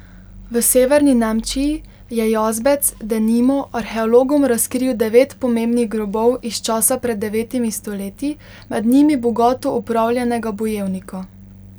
V severni Nemčiji je jazbec, denimo, arheologom razkril devet pomembnih grobov iz časa pred devetimi stoletji, med njimi bogato opravljenega bojevnika.